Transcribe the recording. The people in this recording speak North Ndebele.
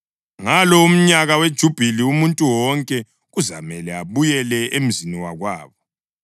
Ngalo umnyaka weJubhili, umuntu wonke kuzamele abuyele emzini wakwabo.